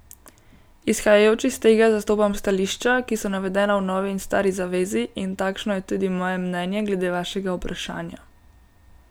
Izhajajoč iz tega zastopam stališča, ki so navedena v Novi in Stari zavezi, in takšno je tudi moje mnenje glede vašega vprašanja.